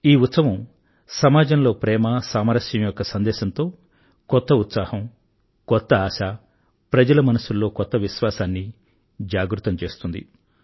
ఈ ఉత్సవం సమాజంలో ప్రేమ మరియు సామరస్యం యొక్క సందేశంతో కొత్త ఉత్సాహం కొత్త ఆశ ప్రజల మనస్సుల్లో కొత్త విశ్వాసాన్ని జాగృతం చేస్తుంది